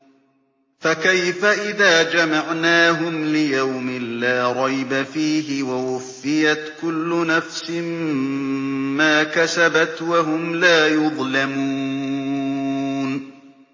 فَكَيْفَ إِذَا جَمَعْنَاهُمْ لِيَوْمٍ لَّا رَيْبَ فِيهِ وَوُفِّيَتْ كُلُّ نَفْسٍ مَّا كَسَبَتْ وَهُمْ لَا يُظْلَمُونَ